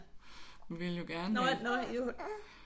Vi ville jo gerne øh